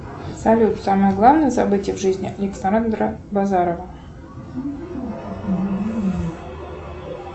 салют самое главное событие в жизни александра базарова